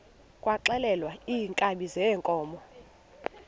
kwaxhelwa iinkabi zeenkomo